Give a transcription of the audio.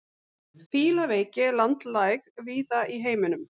Fílaveiki er landlæg víða í heiminum.